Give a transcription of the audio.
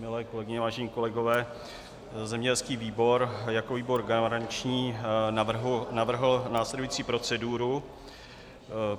Milé kolegyně, vážení kolegové, zemědělský výbor jako výbor garanční navrhl následující proceduru.